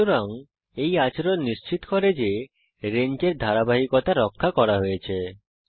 সুতরাং এই আচরণ নিশ্চিত করে যে রেঞ্জের ধারাবাহিকতা রক্ষা করা হয়েছে